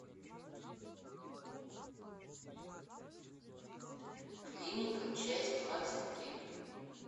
клиника часть двадцать три